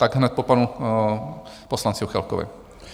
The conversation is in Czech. Tak hned po panu poslanci Juchelkovi.